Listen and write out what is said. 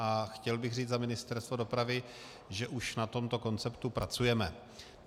A chtěl bych říct za Ministerstvo dopravy, že už na tomto konceptu pracujeme.